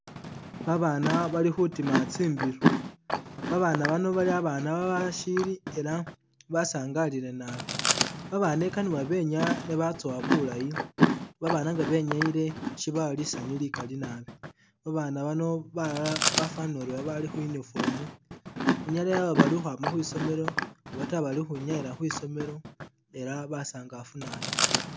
Babaana bali khutima tsimbiloo babaana bano bali babaana a'bashili ela basaangalile naabi, babaana i'kana benyaa ne batsowa bulayi, babaana nga benyayile sibawa lisaanyu likali naabi, babaana bano balala bafanile ori bali khu'uniform i'nyala yaba bali khumwa khwisoomelo oba ta bali khwi'nyayila khwisoomelo ela basaangafu naabi